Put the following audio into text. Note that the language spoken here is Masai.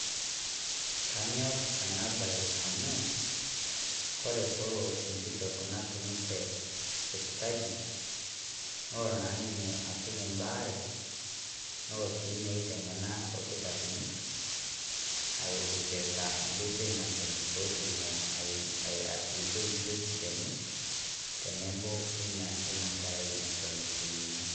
Kaanyor ena bayi amu kore pee loo enkitok natunutee sipitali. Noo naa ninye atuum baare. Noo sii meiteng'ena olnkitarin eipirita enkotoi naisuuj pee otumoo atilikoi biutisho enye tenebo onie eno nkerai netoon etoyuuni.